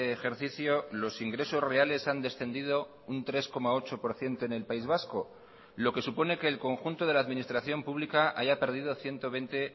ejercicio los ingresos reales han descendido un tres coma ocho por ciento en el país vasco lo que supone que el conjunto de la administración pública haya perdido ciento veinte